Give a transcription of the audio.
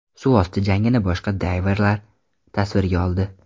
Suvosti jangini boshqa dayverlar tasvirga oldi.